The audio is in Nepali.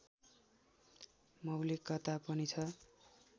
मौलिकता पनि छ